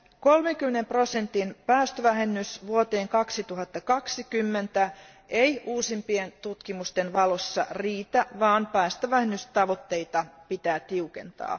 30 prosentin päästövähennys vuoteen 2020 mennessä ei uusimpien tutkimusten valossa riitä, vaan päästövähennystavoitteita pitää tiukentaa.